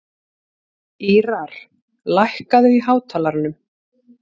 Ýrar, lækkaðu í hátalaranum.